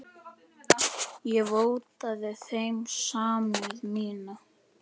Ég vottaði þeim samúð mína.